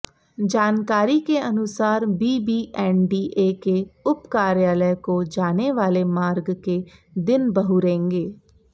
जानकारी के अनुसार बीबीएनडीए के उप कार्यालय को जाने वाले मार्ग के दिन बहुरेंगे